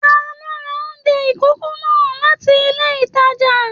Taló rà oúnjẹ ikòkò náà láti ilé ìtàjà?